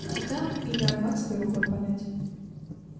а там и до арбатской рукой подать